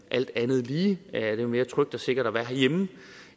alt andet lige er det jo mere trygt og sikkert at være herhjemme